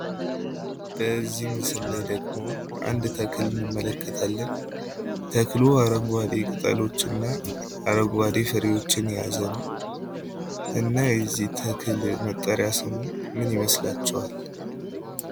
በዚህ ምስል ላይ ደግሞ አንድ ተክል እንመለከታለን። ተክሉ አረንጓዴ ቅጠሎች እና አረንጓዴ ፍሬዎችን የያዘ ነው። እና የዚህ ተክል መጠሪያ ስሙ ምን ይመስላችኋል?